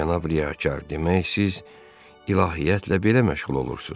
Cənab riyakar, demək siz ilahiyyatla belə məşğul olursuz?